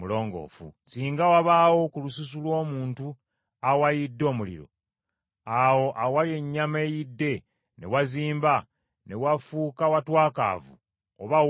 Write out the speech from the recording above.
“Singa wabaawo ku lususu lw’omuntu awayidde omuliro, awo awali ennyama eyidde ne wazimba, ne wafuuka watwakaavu oba weeru,